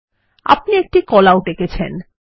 আপনি একটি call out এঁকেছেন